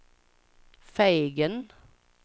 Fegen